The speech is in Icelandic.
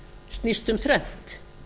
snýst um þrennt